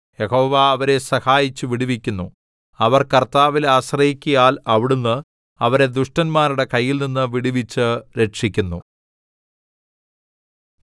യഹോവ അവരെ സഹായിച്ച് വിടുവിക്കുന്നു അവർ കർത്താവിൽ ആശ്രയിക്കയാൽ അവിടുന്ന് അവരെ ദുഷ്ടന്മാരുടെ കയ്യിൽനിന്ന് വിടുവിച്ച് രക്ഷിക്കുന്നു